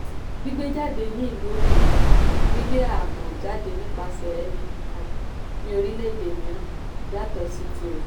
gbígbé jáde ní ìlú òkèèrè - gbígbé àábò jáde nipasẹ̀ ẹni kan ní orílẹ̀-èdè mìíràn yàtọ̀ sí tirẹ̀.